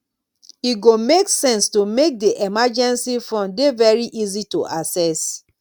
e go make sense to make di emergency fund dey very easy to assess